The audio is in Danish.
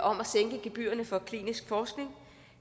om at sænke gebyrerne for klinisk forskning